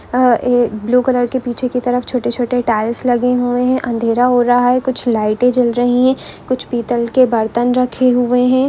अ blue colour के पीछे की तरफ छोटे छोटे टाइल्स लगे हुए है अंधेरा हो रहा है कुछ लाइटें जल रही है कुछ पीतल के बर्तन रखे हुए है।